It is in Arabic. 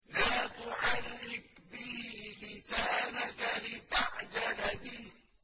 لَا تُحَرِّكْ بِهِ لِسَانَكَ لِتَعْجَلَ بِهِ